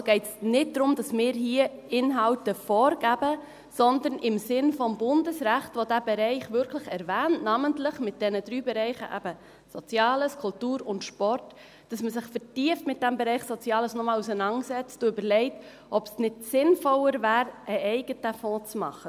Es geht also nicht darum, dass wir hier Inhalte vorgeben, sondern dass man sich im Sinne des Bundesrechts – das diesen Bereich wirklich namentlich erwähnt, mit eben diesen drei Bereichen Soziales, Kultur und Sport – noch einmal vertieft mit diesem Bereich Soziales auseinandersetzt, sich überlegt, ob es sinnvoller wäre, einen eigenen Fonds zu machen.